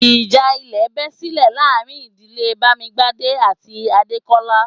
Ìjà ilẹ̀ bẹ́ silẹ̀ láàrin ìdílé Bamigbade àti Adekola